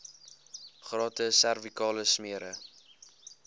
gratis servikale smere